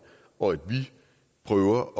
og at vi prøver